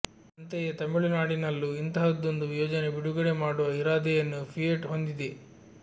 ಅಂತೆಯೇ ತಮಿಳುನಾಡಿನಲ್ಲೂ ಇಂತಹದೊಂದು ಯೋಜನೆ ಬಿಡುಗಡೆ ಮಾಡುವ ಇರಾದೆಯನ್ನು ಫಿಯೆಟ್ ಹೊಂದಿದೆ